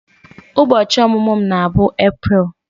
Ubochi omumu m na-bụ April